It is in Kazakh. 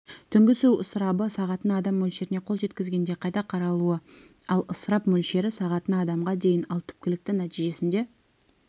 түнгі су ысырабы сағатына адам мөлшеріне қол жеткізгенде қайта қаралуы ал ысырап мөлшері сағатына адамға дейін ал түпкілікті нәтижесінде